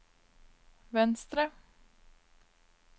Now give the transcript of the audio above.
venstre